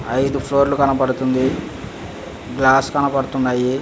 ఐదు ఫ్లోర్లు లు కనబడుతుంది గ్లాస్ కనబడుతున్నాయి.